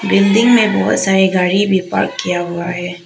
Building में बहुत सारे गाड़ी भी पार्क किया हुआ है।